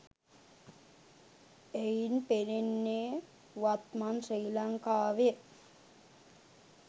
එයින් පෙනෙන්නේ වත්මන් ශ්‍රී ලංකාවෙ